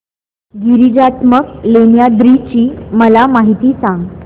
गिरिजात्मज लेण्याद्री ची मला माहिती सांग